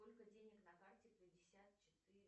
сколько денег на карте пятьдесят четыре